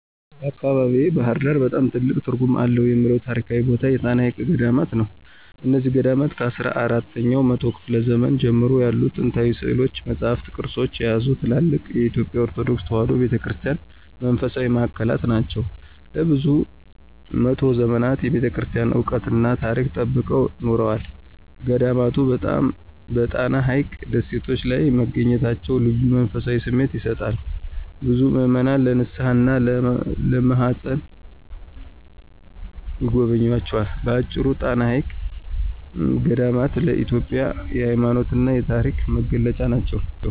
በአካባቢዬ (ባሕር ዳር) በጣም ትልቅ ትርጉም አለው የምለው ታሪካዊ ቦታ የጣና ሐይቅ ገዳማት ናቸው። እነዚህ ገዳማት ከአስራ አራተኛው መቶ ክፍለ ዘመን ጀምሮ ያሉ ጥንታዊ ሥዕሎችን፣ መጻሕፍትንና ቅርሶችን የያዙ ትልልቅ የኢትዮጵያ ኦርቶዶክስ ተዋሕዶ ቤተ ክርስቲያን መንፈሳዊ ማዕከላት ናቸው። ለብዙ መቶ ዘመናት የቤተክርስቲያኗን ዕውቀትና ታሪክ ጠብቀው ኖረዋል። ገዳማቱ በጣና ሐይቅ ደሴቶች ላይ መገኘታቸው ልዩ መንፈሳዊ ስሜት ይሰጣል፤ ብዙ ምዕመናን ለንስሓና ለመማፀን ይጎበኟቸዋል። በአጭሩ፣ ጣና ሐይቅ ገዳማት ለኢትዮጵያ የሃይማኖትና የታሪክ መገለጫ ናቸው።